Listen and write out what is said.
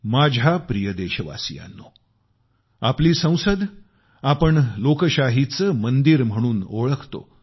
माझ्या प्रिय देशवासियांनो आपल्या संसदेला आपण लोकशाहीचे मंदिर म्हणून ओळखतो